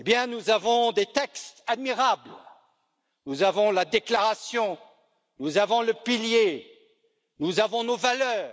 Nous avons des textes admirables nous avons la déclaration, nous avons le socle, nous avons nos valeurs